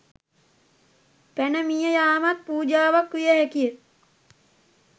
පැන මිය යාමත් පූජාවක් විය හැකි ය.